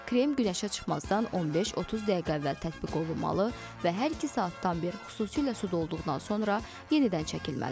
Krem günəşə çıxmazdan 15-30 dəqiqə əvvəl tətbiq olunmalı və hər iki saatdan bir, xüsusilə suda olduqdan sonra, yenidən çəkilməlidir.